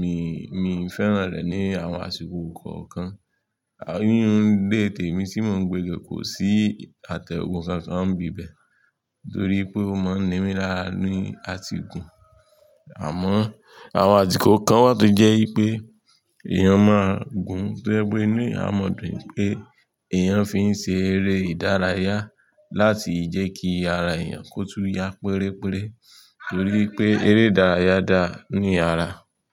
mi, mi n fẹ́ràn rẹ̀ ní àwọn àsìkò kọ̀ọ̀kan. Ayé orundé tèmi tí mò ń gbe lò kò sí àtẹ̀gùn kankan ń bíbẹ̀ torí pé ó máa ń nira ní àti gun. Àmọ́ àwọn àdíkò kan wà tó jẹ́ pé èèyàn máa gun tó ẹgbẹ́ inú àmọ̀dùn pé èèyàn fi ń ṣe eré ìdárayá láti jẹ́ kí ara èèyàn kó tún ya pérére torí pé eré ìdárayá da ní ara.